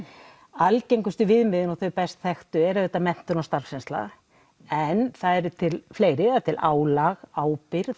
algengustu viðmiðin eru menntun og starfsreynsla en það eru til fleiri álag ábyrgð